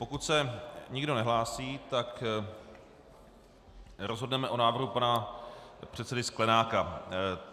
Pokud se nikdo nehlásí, tak rozhodneme o návrhu pana předsedy Sklenáka.